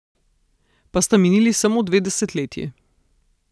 Pa sta minili samo dve desetletji.